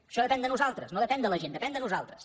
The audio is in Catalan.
això depèn de nosaltres no depèn de la gent depèn de nosaltres